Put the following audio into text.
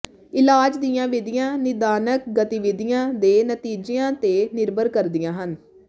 ਇਲਾਜ ਦੀਆਂ ਵਿਧੀਆਂ ਨਿਦਾਨਕ ਗਤੀਵਿਧੀਆਂ ਦੇ ਨਤੀਜਿਆਂ ਤੇ ਨਿਰਭਰ ਕਰਦੀਆਂ ਹਨ